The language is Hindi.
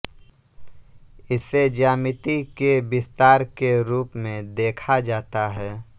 इसे ज्यामिति के विस्तार के रूप में देखा जाता है